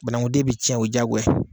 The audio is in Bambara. Banangunden bɛ cɛn o ye jaagoya ye.